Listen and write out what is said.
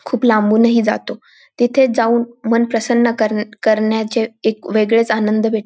खूप लांबूनही जातो तिथे जाऊन मन प्रसन्न करन्या करण्याचे एक वेगळेच आनंद भेट --